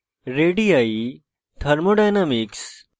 radii thermodynamics